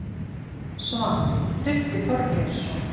Svar: Tryggvi Þorgeirsson